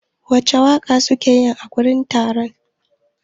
Wace waƙa suke yi a wurin taron?